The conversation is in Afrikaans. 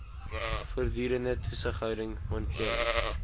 voortdurende toesighouding monitering